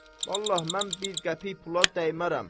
Vallah mən bir qəpik pula dəymərəm.